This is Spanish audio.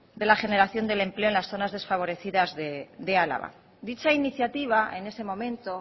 de la generación del empleo en las zonas desfavorecidas de álava dicha iniciativa en ese momento